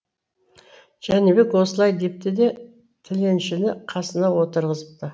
жәнібек осылай депті де тіленшіні қасына отырғызыпы